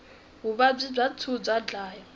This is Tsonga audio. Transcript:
vuvabyi bya tinsu bya dlaya